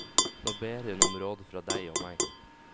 Nå ber hun om råd fra deg og meg.